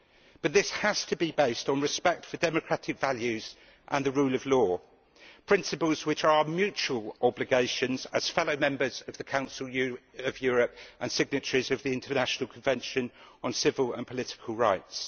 But this has to be based on respect for democratic values and the rule of law, principles which are mutual obligations as fellow members of the Council of Europe and signatories of the International Convention on Civil and Political Rights.